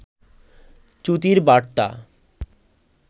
চ্যুতির বারতা